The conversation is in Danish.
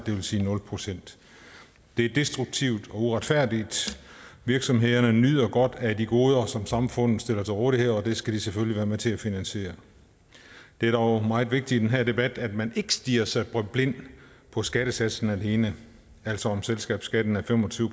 det vil sige nul procent det er destruktivt og uretfærdigt virksomhederne nyder godt af de goder som samfundet stiller til rådighed og det skal de selvfølgelig være med til at finansiere det er dog meget vigtigt i den her debat at man ikke stirrer sig blind på skattesatsen alene altså om selskabsskatten er fem og tyve